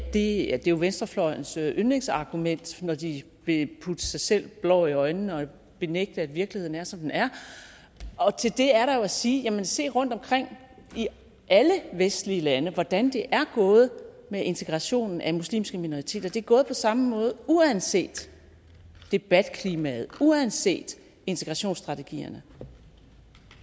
det er jo venstrefløjens yndlingsargument når de vil putte sig selv blår i øjnene og benægte at virkeligheden er som den er og til det er der at sige jamen se rundtomkring i alle vestlige lande hvordan det er gået med integrationen af muslimske minoriteter det er gået på samme måde uanset debatklimaet uanset integrationsstrategierne